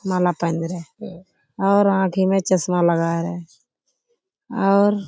माला पहन रहे और आँखें में चश्मा लगाए रहे और --